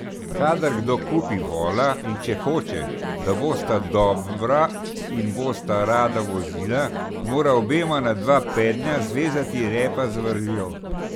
Kadar kdo kupi vola, in če hoče, da bosta dobra in bosta rada vozila, mora obema na dva pednja zvezati repa z vrvjo.